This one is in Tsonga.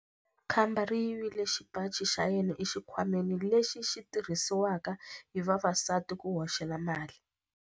Khamba ri yivile xipaci xa yena exikhwameni lexi xi tirhisiwaka hi vavasati ku hoxela mali.